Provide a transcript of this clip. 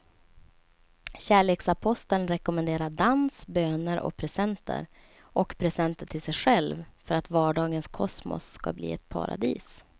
Kärleksaposteln rekommenderar dans, böner och presenter och presenter till sig själv för att vardagens kosmos ska bli ett paradis.